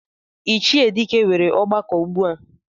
Ichie Dike nwere ọgbakọ ugbua.